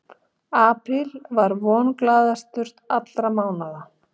Apríl er vonglaðastur allra mánaða.